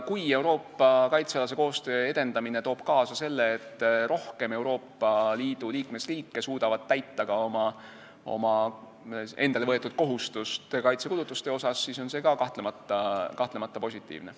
Kui Euroopa kaitsealase koostöö edendamine toob kaasa selle, et rohkem Euroopa Liidu liikmesriike suudavad täita endale võetud kohustust kaitsekulutuste asjus, siis on see ka kahtlemata positiivne.